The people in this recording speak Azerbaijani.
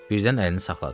Birdən əlini saxladı.